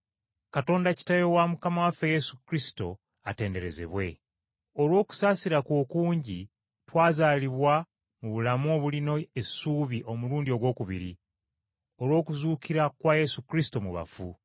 Katonda Kitaawe wa Mukama waffe Yesu Kristo atenderezebwe. Olw’okusaasira kwe okungi twazaalibwa mu bulamu obulina essuubi omulundi ogwokubiri, olw’okuzuukira kwa Yesu Kristo mu bafu.